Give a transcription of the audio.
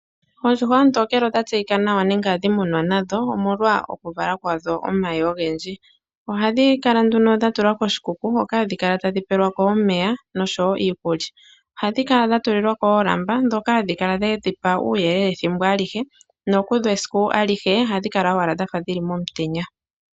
Oondjuhwa oontokele odha tseyika nawa nenge ohadhi munwa nadho omwalwa okuvala kwadho omayi ogendji. Ohadhi kala nduno dha tulwa koshikuku hoka hadhi kala tadhi pelwa ko omeya nosho woo iikulya. Ohadhi kala dha tulilwa ko oolamba, ndhoka hadhi kala dhedhipa uuyelele ethimbo alihe, nokudho esiku alihe ohadhi kala owala dhafa dhili momutenya.